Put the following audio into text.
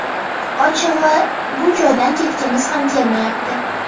Ochig‘i, bu joydan ketgimiz ham kelmayapti.